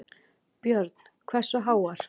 Björn: Hversu háar?